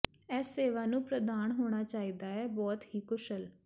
ਇਸ ਸੇਵਾ ਨੂੰ ਪ੍ਰਦਾਨ ਹੋਣਾ ਚਾਹੀਦਾ ਹੈ ਬਹੁਤ ਹੀ ਕੁਸ਼ਲ